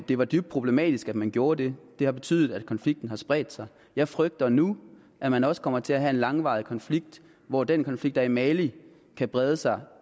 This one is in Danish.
det var dybt problematisk at man gjorde det det har betydet at konflikten har spredt sig jeg frygter nu at man også kommer til at have en langvarig konflikt hvor den konflikt der er i mali kan brede sig